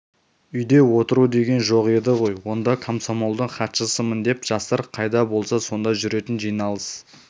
үйде отыру деген жоқ еді ғой онда комсомолдың хатшысымын деп жастар қайда болса сонда жүретін жиналыс